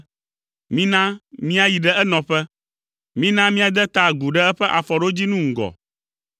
“Mina míayi ɖe enɔƒe, mina míade ta agu ɖe eƒe afɔɖodzinu ŋgɔ.